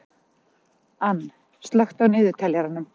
Anne, slökktu á niðurteljaranum.